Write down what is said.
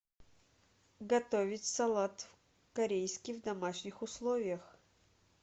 готовить салат корейский в домашних условиях